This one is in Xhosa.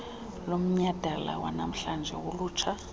lomnyadala wanamhlanje wolutsha